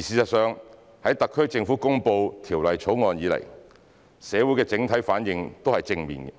事實上，在特區政府公布《條例草案》以來，社會的整體反應都是正面的，